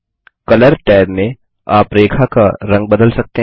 colour tab में आप रेखा का रंग बदल सकते हैं